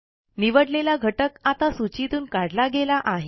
निवडलेला घटक आता सूचीतून काढला गेला आहे